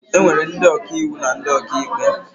E nwere ndị ọkàiwu na ndị ọkàikpe